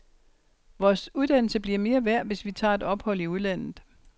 Vores uddannelse bliver mere værd, hvis vi tager et ophold i udlandet.